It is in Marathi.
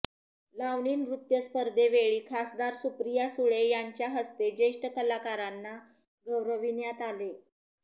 लावणी नृत्य स्पर्धेवेळी खासदार सुप्रिया सुळे यांच्या हस्ते ज्येष्ठ कलाकारांना गौरविण्यात आले